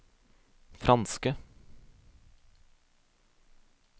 franske